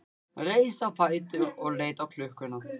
Reis á fætur og leit á klukkuna.